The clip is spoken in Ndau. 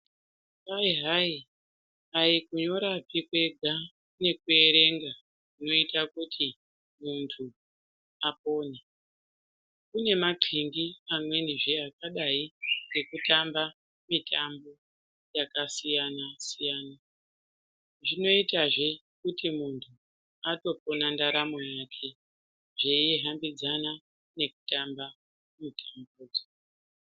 Kwai hai aikunyorapi kwega nekuverenga kunoita kuti muntu akone. Kune makindi amwenizve akadai ngekutamba mitambo yakasiyana siyana. zvinoitazve kuti muntu atopona ndaramo yake zveihambidzana nekutamba mitambo.